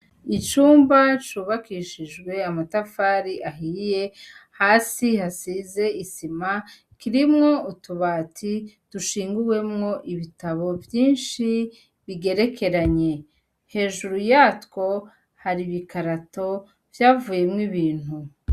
Icumba cubakishijwe amatafari ahiye, hasi hasize isima. Kirimwo utubati dushinguwemwo ibitabo vyinshi bigerekeranye. Hejuru yatwo ,hari ibikarato vyavuyemwo ibintu.